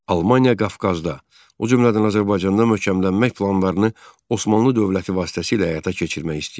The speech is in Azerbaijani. Almaniya Qafqazda, o cümlədən Azərbaycanda möhkəmlənmək planlarını Osmanlı dövləti vasitəsilə həyata keçirmək istəyirdi.